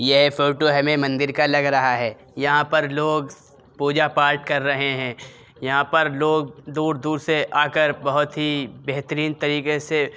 यह फोटो हमें मंदिर का लग रहा है। यहाँ पर लोग पूजा-पाठ कर रहे हैं। यहाँ पर लोग दूर-दूर से आकर बहोत ही बेहतरीन तरीके से --